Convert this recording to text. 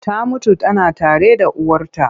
Ta mutu tana tare da uwarta.